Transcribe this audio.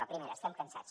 la primera estem cansats